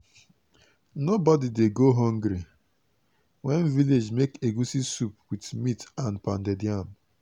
nobody dey go hungry wen village make egusi soup with meat and pounded yam.